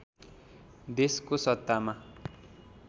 देशको सत्तामा